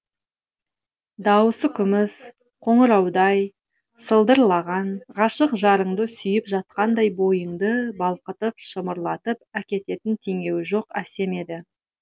даусы күміс қоңыраудай сылдырлаған ғашық жарыңды сүйіп жатқандай бойыңды балқытып шымырлатып әкететін теңеуі жоқ әсем еді